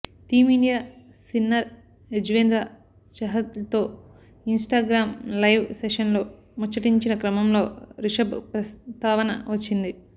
team India spinner Yuzvendra చహల్తో Instagram live సెషన్లో ముచ్చటించిన క్రమంలో రిషభ్ ప్రస్తావన వచ్చింది